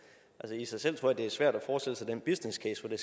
i sig selv tror jeg det er svært at forestille sig den business case hvor det